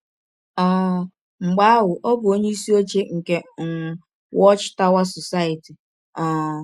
um Mgbe ahụ ọ bụ onyeisi ọche nke um Watch Tower Society um.